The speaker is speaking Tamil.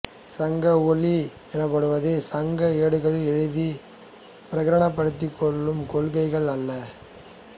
சங்க ஒளி எனப்படுவது சங்க ஏடுகளில் எழுதி பிரகடனப்படுத்தப்பட்ட கொள்கைகள் அல்ல